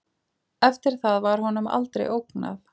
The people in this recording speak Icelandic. Eftir það var honum aldrei ógnað